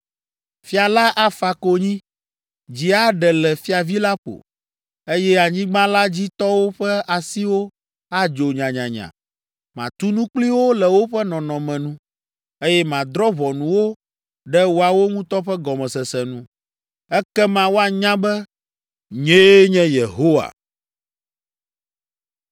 Fia la afa konyi, dzi aɖe le fiavi la ƒo, eye anyigba la dzi tɔwo ƒe asiwo adzo nyanyanya. Matu nu kpli wo le woƒe nɔnɔme nu, eye madrɔ̃ ʋɔnu wo ɖe woawo ŋutɔ ƒe gɔmesese nu. “ ‘Ekema woanya be nyee nye Yehowa.’ ”